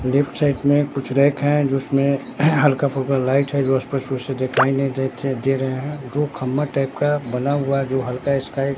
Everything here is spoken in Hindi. लेफ्ट साइड में कुछ रैक है जिसमें हल्का फुल्का लाइट है जो स्पष्ट रूप से दिखाई नहीं देते दे रहे हैं दो खम्बा टाइप का बना हुआ जो हल्का स्काई --